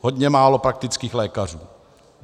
Hodně málo praktických lékařů.